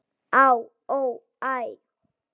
Á, ó, æ